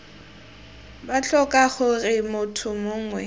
b tlhoka gore motho mongwe